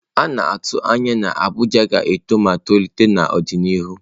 A na-atụ anya na Abuja ga-eto ma tolite n'ọdịnihu.